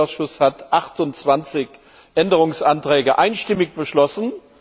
Der Industrieausschuss hat 28 Änderungsanträge einstimmig beschlossen.